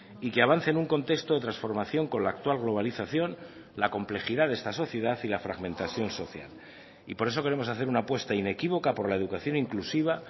y que avance en un contexto de transformación con la actual globalización la complejidad de esta sociedad y la fragmentación social y por eso queremos hacer una apuesta inequívoca por la educación inclusiva